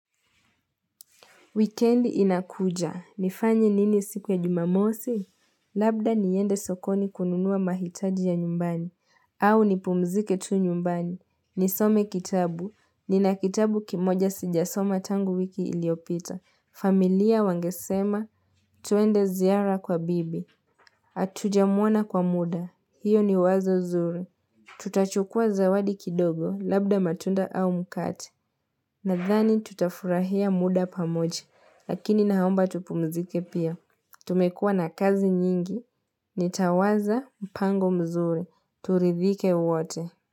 Weekend inakuja. Nifanyi nini siku ya jumamosi? Labda niende sokoni kununua mahitaji ya nyumbani. Au nipumzike tu nyumbani. Nisome kitabu. Nina kitabu kimoja sijasoma tangu wiki iliyopita. Familia wangesema. Tuende ziara kwa bibi. Hatujamwona kwa muda. Hiyo ni wazo zuri. Tutachukua zawadi kidogo. Labda matunda au mkate. Nadhani tutafurahia muda pamoja. Lakini naomba tupumzike pia, tumekua na kazi nyingi, nitawaza mpango mzuri, turidhike wote.